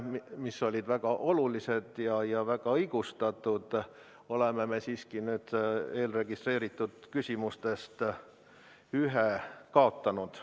Need olid küll väga olulised ja väga õigustatud, aga me oleme siiski eelregistreeritud küsimustest ühe kaotanud.